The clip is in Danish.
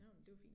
Ja det jo fint